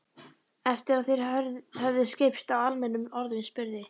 Eftir að þeir höfðu skipst á almennum orðum spurði